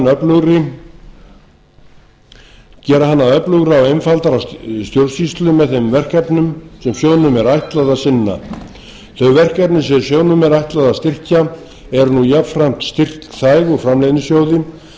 að gera hann að öflugri og einfaldari stjórnsýslu með þeim verkefnum sem sjóðnum er ætlað að sinna þeim verkefnum sem sjóðnum er ætlað að styrkja eru nú jafnframt styrkfær úr framleiðnisjóði samanber